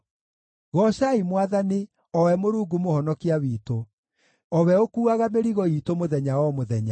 Goocai Mwathani, o we Mũrungu Mũhonokia witũ, o we ũkuuaga mĩrigo iitũ mũthenya o mũthenya.